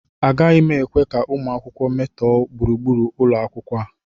Agaghị m ekwe ka ụmụ akwụkwọ metọọ gburugburu ụlọ akwụkwọ a